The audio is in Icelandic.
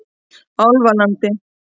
Álfalandi